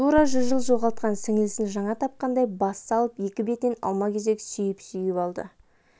тура жүз жыл жоғалтқан сіңілісін жаңа тапқандай бас салып екі бетінен алма-кезек сүйіп-сүйіп алды